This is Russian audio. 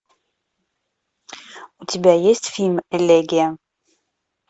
у тебя есть фильм элегия